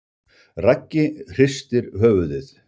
Raggi hristir höfuðið.